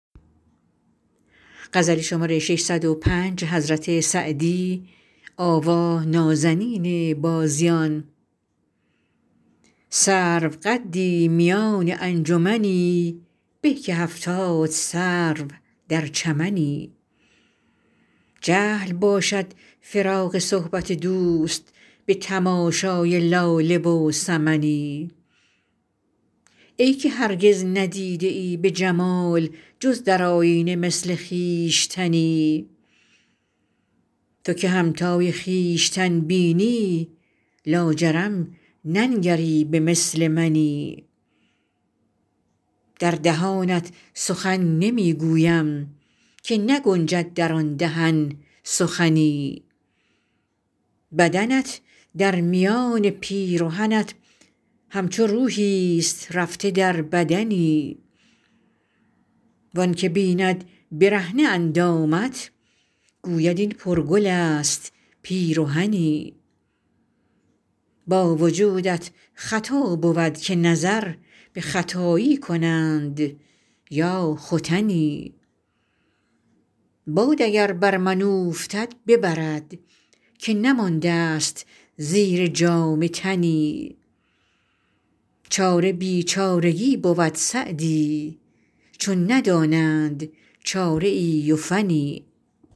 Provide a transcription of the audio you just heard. سروقدی میان انجمنی به که هفتاد سرو در چمنی جهل باشد فراق صحبت دوست به تماشای لاله و سمنی ای که هرگز ندیده ای به جمال جز در آیینه مثل خویشتنی تو که همتای خویشتن بینی لاجرم ننگری به مثل منی در دهانت سخن نمی گویم که نگنجد در آن دهن سخنی بدنت در میان پیرهنت همچو روحیست رفته در بدنی وآن که بیند برهنه اندامت گوید این پرگل است پیرهنی با وجودت خطا بود که نظر به ختایی کنند یا ختنی باد اگر بر من اوفتد ببرد که نمانده ست زیر جامه تنی چاره بیچارگی بود سعدی چون ندانند چاره ای و فنی